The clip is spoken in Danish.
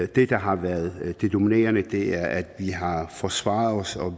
det der har været det dominerende er at vi har forsvaret os og